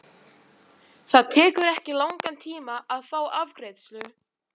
Það tekur ekki langan tíma að fá afgreiðslu.